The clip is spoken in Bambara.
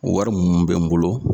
O wari mun bɛ n bolo